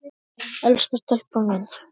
Elsku stelpan mín.